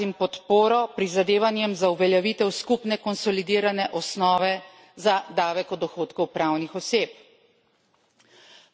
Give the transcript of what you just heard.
Naj ob tem izrazim podporo prizadevanjem za uveljavitev skupne konsolidirane osnove za davek o dohodku pravnih oseb.